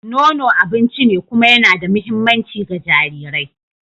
Nono abinci ne kuma yana da mahimmanci ga jarirai.